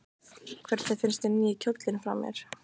Hvernig finnst þér nýi kjóllinn fara mér?